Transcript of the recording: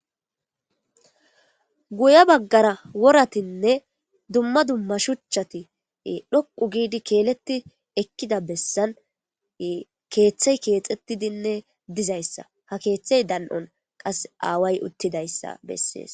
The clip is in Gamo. guya baggara woratinne dumma dumma shuchati dhoqu giidi keeletti ekkida bessan keeththey keexettidinne dizayssa ha keeththey dan7on qas aaway uttidayssa bessees